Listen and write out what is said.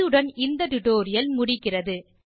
இத்துடன் இந்த டுடோரியல் முடிகிறது